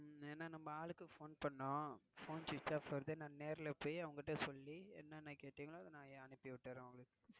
ஏன்னா நம்ம ஆளுக்கு Phone பண்ணுனோம் Phone Switched Off வருது நான் நேரில் போய் அவங்ககிட்ட சொல்லி என்னென்ன கேட்டிங்களோ அத நான் அனுப்பிவிடுரேன் உங்களுக்கு.